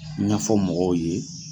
ɲafɔ mɔgɔw ye.